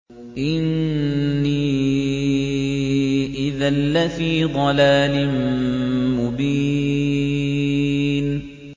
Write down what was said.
إِنِّي إِذًا لَّفِي ضَلَالٍ مُّبِينٍ